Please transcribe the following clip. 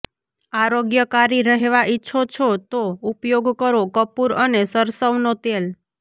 આરોગ્યકારી રહેવા ઈચ્છો છો તો ઉપયોગ કરો કપૂર અને સરસવનો તેલ